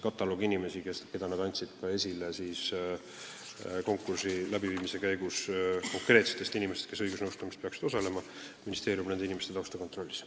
Ja konkreetseid inimesi, keda nad konkursi läbiviimise käigus nimetasid kui õigusnõustamises osalejaid, ministeerium kontrollis.